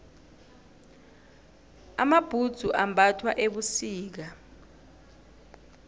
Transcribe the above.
amabhudzu ambathwa ebusika